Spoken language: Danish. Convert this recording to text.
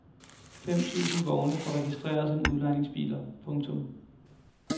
Fem tusind vogne står registreret som udlejningsbiler. punktum